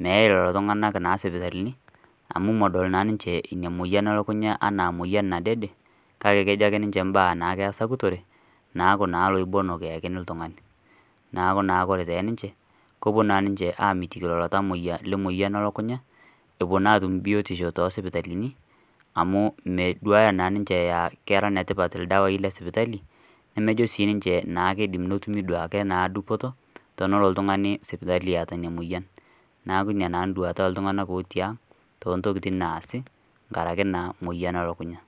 meeyai lelo tung'anak sipitalini amu medol naa ninche emoyian elukunya enaa moyian nadede kake kejo ake ninche imbaa naake esakutore naaku naa loibonok eyakini ltung'ani neeku naa ore teninche kepuo naa ninche amitiki lelo tamoyiaa lemoyian ee lukunya epuo naa atum biotisho too sipitalini amuu meduaya naa ninche aa kera netipat ildawai lesipitai nemejo naa sinche kiidim netumi duoo akee naa dupoto tenelo oltung'ani sipitali eeta ina moyian neeku ina naa nduata oltung'anak ooti ang' toontokiting' naasi nkaraki naa moyian ee lukunya.